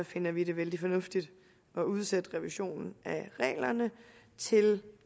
finder vi det vældig fornuftigt at udsætte revisionen af reglerne til